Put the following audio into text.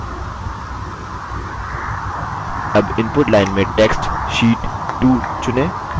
अब input line में text sheet 2 चुनें